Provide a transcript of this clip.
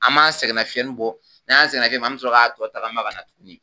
An ma sɛgɛnna fiyɛnni bɔ, n'a y'an sɛginna fiyɛn bɔ, an me sɔrɔ k'a tɔ tagama ka na tuguni